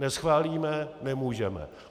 Neschválíme, nemůžeme.